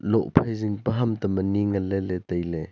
loh phai jing pe ham tam ani le nganle le taile.